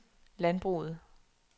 landbruget